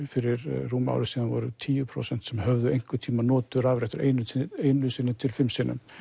fyrir rúmu ári síðan voru tíu prósent sem höfðu einhvern tímann notað rafrettur einu sinni einu sinni til fimm sinnum